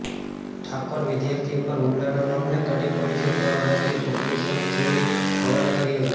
ઠાકોર વિધાર્થી ઉપર હુમલાના મામલે કડી પોલીસે ત્રણ આરોપીઓ પકડી સબ જેલ હવાલે કર્યા છે